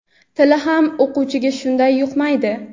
tili ham o‘quvchiga shunday yuqmaydi.